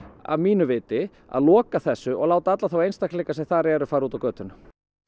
að mínu viti að loka þessu og láta alla þá einstaklinga sem þar eru fara út á götuna